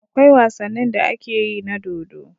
Akwai wasanin da akeyi na dodo